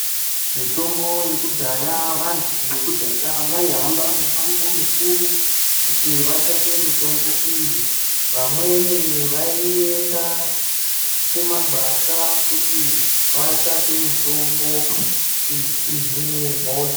Mitombo yekudhaya vantu veku dhaya vai hamba mi mango mikuru kuti vatsvake mitombo iyi vamweni vaenda ku mangwasha kuti vatsvake mitombo kuti ihine hosha.